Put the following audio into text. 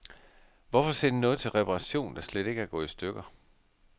Hvorfor sende noget til reparation, der slet ikke er gået i stykker.